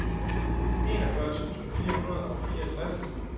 enogfyrre tusind fire hundrede og fireogtres